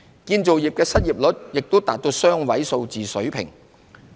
建造業的失業率亦達雙位數水平。